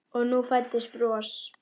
Og nú fæddist bros.